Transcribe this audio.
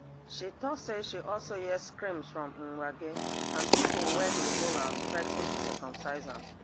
she tok say she also hear screams from mwangi and pipo wey dey hold am threa ten to circumcise am